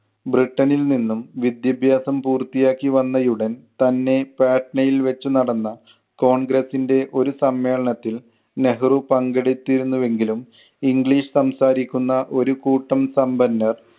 ബ്രിട്ടണിൽ നിന്നും വിദ്യാഭ്യാസം പൂർത്തി ആക്കി വന്നയുടൻ തന്നെ പാറ്റ്നയിൽ വെച്ചു നടന്ന കോൺഗ്രസിൻ്റെ ഒരു സമ്മേളനത്തിൽ നെഹ്‌റു പങ്കെടുത്തിരുന്നുവെങ്കിലും English സംസാരിക്കുന്ന ഒരു കൂട്ടം സമ്പന്നർ